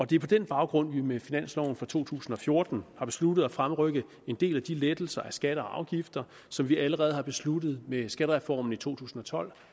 det er på den baggrund at vi med finansloven for to tusind og fjorten har besluttet at fremrykke en del af de lettelser af skatter og afgifter som vi allerede besluttede med skattereformen i to tusind og tolv